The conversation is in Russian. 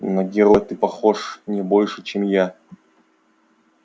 на героя ты похож не больше чем я